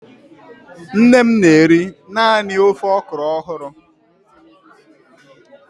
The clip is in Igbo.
Nne m na-eri naanị ofe okro ọhụrụ.